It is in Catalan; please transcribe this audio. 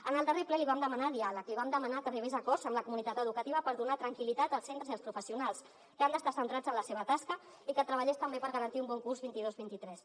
en el darrer ple li vam demanar diàleg li vam demanar que arribés a acords amb la comunitat educativa per donar tranquil·litat als centres i als professionals que han d’estar centrats en la seva tasca i que treballés també per garantir un bon curs dos mil dos cents i vint tres